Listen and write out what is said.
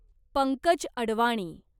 Pankaj Advani